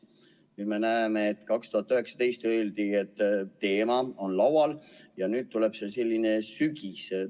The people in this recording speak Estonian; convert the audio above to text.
Nüüd me kuuleme, et aastal 2019 öeldi, et teema on laual, ja nüüd tuleb oodata sügiseni.